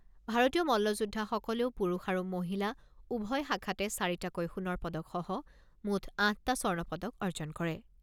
ভাৰতীয় মল্লযোদ্ধাসকলেও পুৰুষ আৰু মহিলা উভয় শাখাতে চাৰিটাকৈ সোণৰ পদকসহ মুঠ আঠটা স্বৰ্ণপদক অৰ্জন কৰে।